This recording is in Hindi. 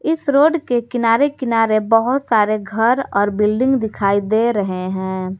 इस रोड के किनारे किनारे बहुत सारे घर और बिल्डिंग दिखाई दे रहे है।